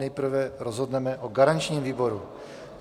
Nejprve rozhodneme o garančním výboru.